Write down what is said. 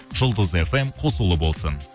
жұлдыз фм қосулы болсын